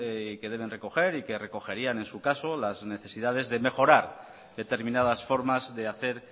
y que deben recoger y que recogerían en su caso las necesidades de mejorar determinadas formas de hacer